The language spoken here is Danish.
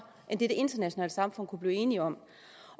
end det det internationale samfund kunne blive enig om